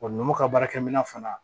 nɔnɔ ka baarakɛminɛ fana